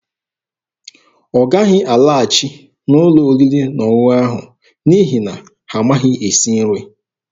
Ọ gaghị alaghachi n'ụlọ oriri na ọṅụṅụ ahụ n'ihi na ha amaghị esi nri.